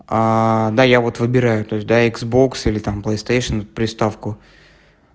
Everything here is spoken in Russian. да я вот выбираю то есть да иксбокс или там плэйстейшен приставку